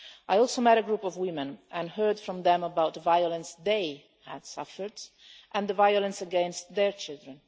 I also met a group of women and heard from them about the violence they had suffered and the violence against their children.